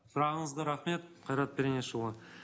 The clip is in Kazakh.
сұрағыңызға рахмет қайрат пернешұлы